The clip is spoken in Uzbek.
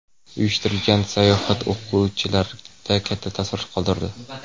Uyushtirilgan sayohat o‘quvchilarda katta taassurot qoldirdi.